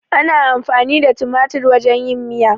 Ana amfani da tumatir wajen yin miya.